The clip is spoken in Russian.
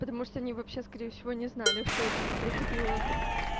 потому что они вообще скорее всего не знали что я типа приходила